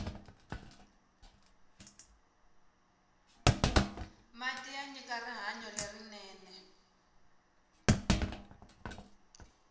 mati manyika rihanyo lerinene